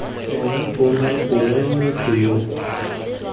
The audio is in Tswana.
ena tona gongwe motho yoo